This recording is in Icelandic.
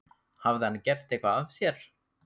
Hafði hann gert eitthvað af sér?